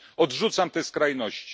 Odrzucam te skrajności.